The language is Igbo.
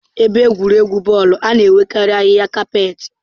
Ebe egwuregwu bọọlụ na-enwekarị ahịhịa kapet.